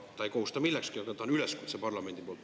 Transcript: See ei kohusta millekski, aga see on üleskutse parlamendi poolt.